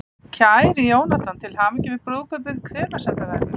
Kæri Jónatan, til hamingju með brúðkaupið, hvenær sem það verður.